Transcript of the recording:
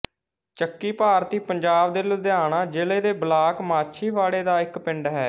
ਚੱਕੀ ਭਾਰਤੀ ਪੰਜਾਬ ਦੇ ਲੁਧਿਆਣਾ ਜ਼ਿਲ੍ਹੇ ਦੇ ਬਲਾਕ ਮਾਛੀਵਾੜਾ ਦਾ ਇੱਕ ਪਿੰਡ ਹੈ